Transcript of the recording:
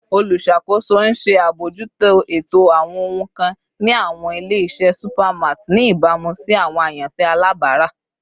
Oluṣakoso n ṣe abojuto eto awọn ohun kan ni awọn ile-iṣẹ supermarts ni ibamu si awọn ayanfẹ alabara